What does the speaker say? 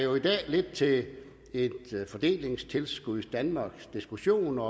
lidt til en fordelingstilskudsdanmarksdiskussion og